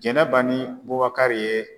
Jɛnɛba ni Bubakari ye